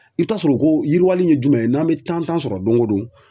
I bɛ t'a sɔrɔ ko yiriwali in ye jumɛn ye n'an bɛ tan tan sɔrɔ don o don.